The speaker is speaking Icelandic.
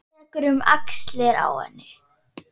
Tekur um axlir hennar.